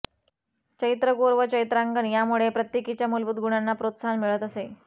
चैत्रगौर व चैत्रांगण यामुळे प्रत्येकीच्या मूलभूत गुणांना प्रोत्साहन मिळत असे